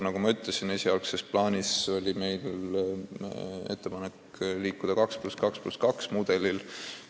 Nagu ma ütlesin, esialgses plaanis oli meil ettepanek liikuda edasi mudeliga 2 : 2 : 2.